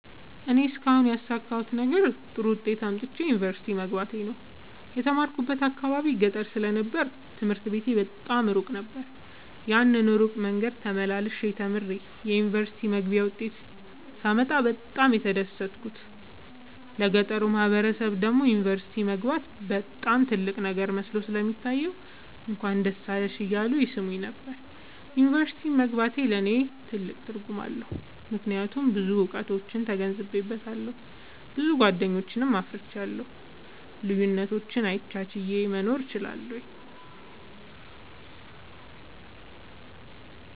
እኔ እስካሁን ያሣካሁት ነገር ጥሩ ዉጤት አምጥቼ ዩኒቨርሲቲ መግባቴ ነዉ። የተማርኩበት አካባቢ ገጠር ስለ ነበር ትምህርት ቤቱ በጣም እሩቅ ነበር። ያን እሩቅ መንገድ ተመላልሸ ተምሬ የዩኒቨርሲቲ መግቢያ ዉጤት ሳመጣ በጣም ነበር የተደሠትኩት ለገጠሩ ማህበረሠብ ደግሞ ዩኒቨርሲቲ መግባት በጣም ትልቅ ነገር መስሎ ስለሚታየዉ እንኳን ደስ አለሽ እያሉ ይሥሙኝ ነበር። ዩኒቨርሢቲ መግባቴ ለኔ ትልቅ ትርጉም አለዉ። ምክያቱም ብዙ እዉቀቶችን ተገንዝቤአለሁ። ብዙ ጎደኞችን አፍርቻለሁ። ልዩነቶችን አቻችየ መኖር እችላለሁ።